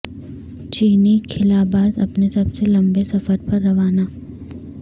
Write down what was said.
چینی خلاباز اپنے سب سے لمبے سفر پر روانہ